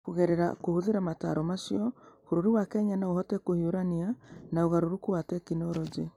Kũgerera kũhũthĩra motaaro macio, bũrũri wa Kenya no ũhote kũhiũrania na ũgarũrũku wa tekinolonjĩ.